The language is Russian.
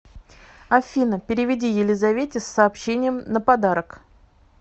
афина переведи елизавете с сообщением на подарок